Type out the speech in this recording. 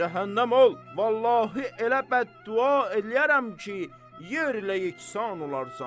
Cəhənnəm ol, vallahi elə bəduğa eləyərəm ki, yerlə yeksan olarsan.